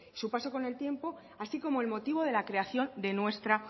su paso con el tiempo así como el motivo de la creación de nuestra